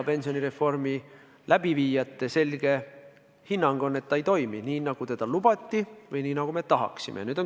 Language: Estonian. Pensionireformi läbiviijate selge hinnang on, et ta ei toimi nii, nagu lubati, või nii, nagu me tahaksime.